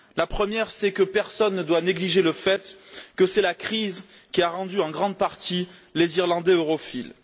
La première, c'est que personne ne doit négliger le fait que c'est la crise qui a rendu en grande partie les Irlandais europhiles.